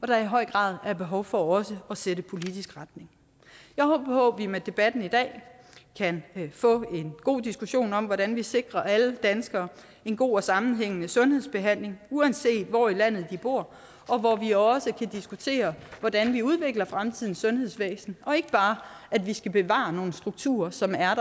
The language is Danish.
der i høj grad er behov for også at sætte politisk retning jeg håber på at vi med debatten i dag kan få en god diskussion om hvordan vi sikrer alle danskere en god og sammenhængende sundhedsbehandling uanset hvor i landet de bor og hvor vi også kan diskutere hvordan vi udvikler fremtidens sundhedsvæsen og ikke bare at vi skal bevare nogle strukturer som er